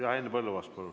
Jah, Henn Põlluaas, palun!